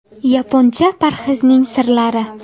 Yaponcha parhezning sirlari.